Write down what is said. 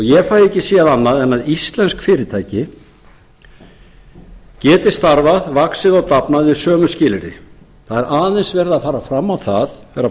ég fæ ekki séð annað en að íslensk fyrirtæki geti starfað vaxið og dafnað við sömu skilyrði það er aðeins verið að fara fram á það herra